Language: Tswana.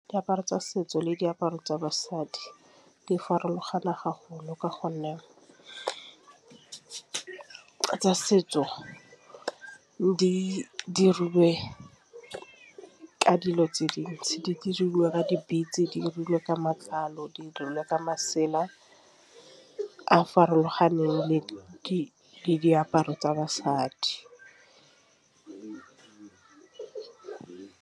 Diaparo tsa setso le diaparo tsa basadi di farologane ka gonne, tsa setso di dirilwe ke dilo tse dintsi. Di dirilwe ka di-beats, di dirilwe ka matlalo, di dirilwe ka masela a farologaneng le diaparo tsa basadi.